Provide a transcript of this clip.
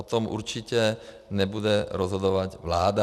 O tom určitě nebude rozhodovat vláda.